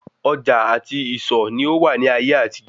Ọjà àti ìsọ̀ ni ó wà ní ayé àtijó